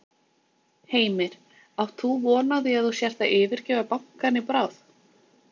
Heimir: Átt þú von á því að þú sért að yfirgefa bankann í bráð?